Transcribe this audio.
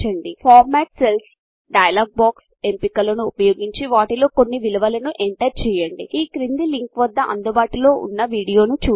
format cells dialog box ఎంపికలను ఉపయోగించి వాటిలో కొన్ని విలువలను ఎంటర్ చేయండి ఈ క్రింది లింక్వద్ద అందుబాటులో ఉన్న వీడియోను చూడండి